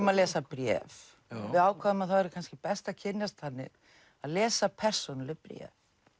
að lesa bréf við ákváðum að það væri kannski best að kynnast þannig að lesa persónuleg bréf